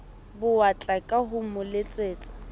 bowatla ka ho mo letsetsa